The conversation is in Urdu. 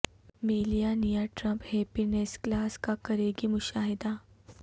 Melania Trump happiness class کا کریں گی مشاہدہ